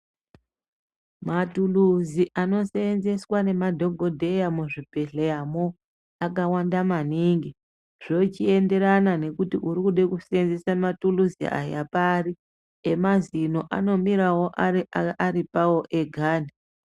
Matuluzi anosenzeswa nemadhokodheya muzvibhedhleya mo, akawanda maningi, zvochienderana ngekuti urikude kusenzisa mathuluzi aya pari. Emazino anomirawo aripawo ega.